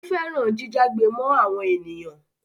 Ó fẹ́ràn jíjágbe mọ́ àwọn ènìyàn.